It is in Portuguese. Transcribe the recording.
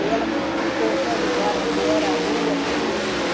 E ela me explicou até o lugar, onde era, a rua, tudo.